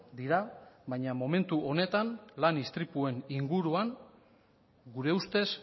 dira baina momentu honetan lan istripuen inguruan gure ustez